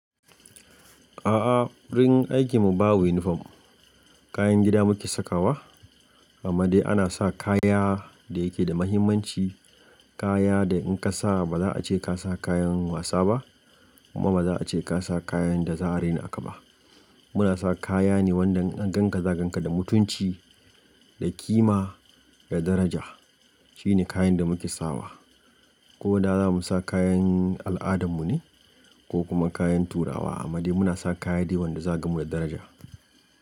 A'a, wurin aikin mu babu uniform. Kayan gida muke sakawa, amma dai ana sa kaya da yake da muhimmanci. Kaya da in ka sa ba za a ce ka sa kayan wasa ba kuma ba za a ce ka sa kayan da za'a raina ka ba. Muna sa kaya ne wanda in gan ka za'a gan ka da mutunci, da ƙima, da daraja. Shine kayan da muke sawa, ko da zamu sa kayan al'adan mu ne ko kuma kayan turawa. Amma dai muna sa kaya dai wanda za'a gan mu da daraja.